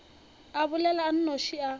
a bolela a nnoši a